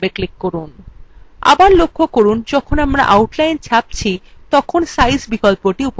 আবার লক্ষ্য করুন যখন আমরা outline ছাপছি তখন সাইজ বিকল্পটি উপলব্ধ নেই